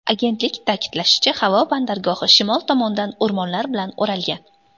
Agentlik ta’kidlashicha, havo bandargohi shimol tomondan o‘rmonlar bilan o‘ralgan.